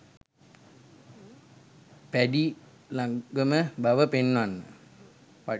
පැඞී ළඟම බව පෙන්නන්න.